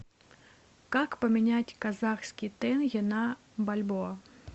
как поменять казахский тенге на бальбоа